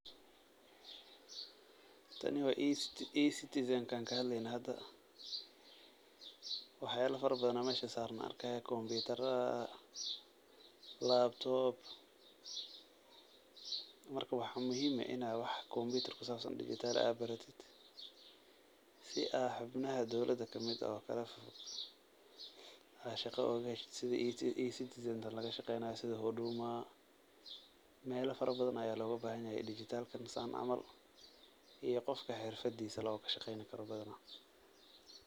Tani waa ecitizan ti aan kahadleyne hada, wax yaaba fara badan oo halkan saaran ayaan arkaaya, computer, laptop ,marka waxaa muhiim ah inaad wax computer kusaabsan oo digital ah baratid, si aad xubnaha dowlada kamid ah aad shaqa ooga heshid Sidi ecitizan laga shaqeeynaayo, Sidi huduma, meela fara badan ayaa looga bahan yahay digital kan saan camal, iyo qofka xirfadiisa ku shaqeen karo badanaa.